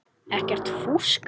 Ekkert fúsk.